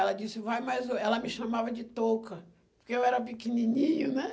Ela disse, vai mais... Ela me chamava de touca, porque eu era pequenininho, né?